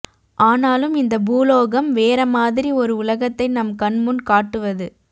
ஆனாலும் இந்த பூலோகம் வேற மாதிரி ஒரு உலகத்தை நம் கண்முன் காட்டுவது